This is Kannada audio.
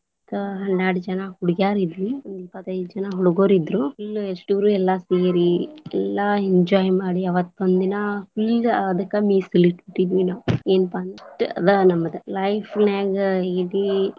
ಹತ್ತ ಹನ್ಯಾರ್ಡ್ ಜನಾ ಹುಡಿಗ್ಯಾರ ಇದ್ವಿ, ಒಂದ್ ಇಪ್ಪತೈದ ಜನಾ ಹುಡಗೂರ ಇದ್ರೂ, full ಇಸ್ಟುರು ಎಲ್ಲಾ ಸೇರಿ ಎಲ್ಲಾ enjoy ಮಾಡಿ ಅವತ್ ಒಂದಿನಾ full ಅದಕ್ಕ ಮೀಸಲಿಟ್ಟ್ ಬಿಟ್ಟಿದ್ವಿ ನಾವ್, ಏನಪಾ ಅದ ನಮದ life ನ್ಯಾಗ ಇಡೀ.